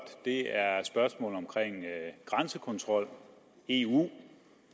er spørgsmålet om grænsekontrol eu og